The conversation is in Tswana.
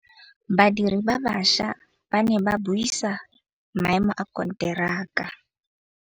Badiri ba baša ba ne ba buisa maêmô a konteraka.